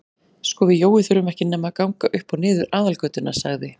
Sko við Jói þurfum ekki nema að ganga upp og niður aðalgötuna sagði